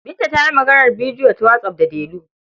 Binta ta yi maganar bidiyo ta whatsApp da Delu.